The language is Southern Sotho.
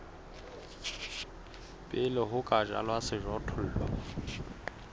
pele ho ka jalwa sejothollo